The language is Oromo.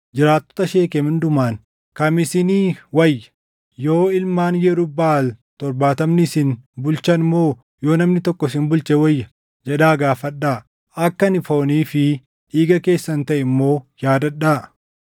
“Jiraattota Sheekem hundumaan, ‘Kam isinii wayya? Yoo ilmaan Yerub-Baʼaal torbaatamni isin bulchan moo yoo namni tokko isin bulche wayya?’ jedhaa gaafadhaa. Akka ani foonii fi dhiiga keessan taʼe immoo yaadadhaa.”